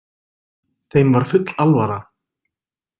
Þeim var full alvara.